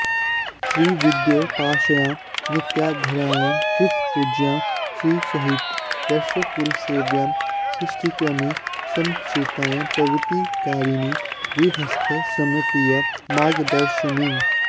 श्रीविद्योपास्यां नित्याराध्यां श्रितपूज्यां श्रीसहित वैश्यकुलसेव्यां सृष्टिक्रमे समर्चितां प्रवृत्तिकारिणीं गृहस्थाश्रमप्रिय मार्गदर्शिनीम्